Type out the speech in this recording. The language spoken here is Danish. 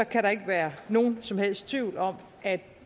kan der ikke være nogen som helst tvivl om at